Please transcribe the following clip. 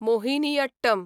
Mohiniyattam